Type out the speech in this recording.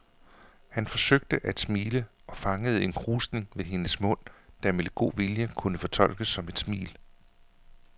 Han forsøgte at smile og fangede en krusning ved hendes mund, der med lidt god vilje kunne fortolkes som et smil.